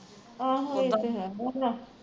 ਆਹੋ ਇਹ ਤੇ ਹੈ